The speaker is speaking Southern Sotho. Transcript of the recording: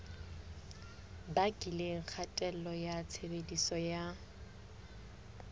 bakileng kgatello ya tshebediso ya